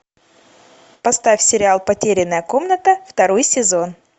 поставь сериал потерянная комната второй сезон